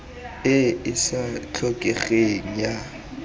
e e sa tlhokegeng ya